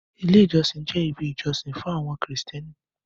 Ilé ìjọsìn jẹ́ ibi ìjọsìn fún àwọn krìstẹ́nì.